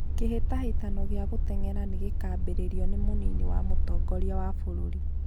kĩhĩtahĩtano gĩa gũteng'era nĩ gĩkaambĩrĩrio nĩ mũnini wa mũtongoria wa bũrũri